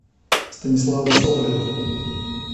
станислава соболева